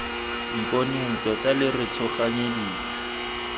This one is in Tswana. mponeng tota lo re tshoganyeditse